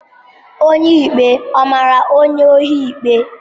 Onye ikpe ọ mara onye ohi ikpe?